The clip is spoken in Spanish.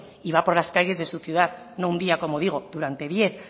y va por las calles de su ciudad no un día como digo durante diez